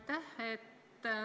Aitäh!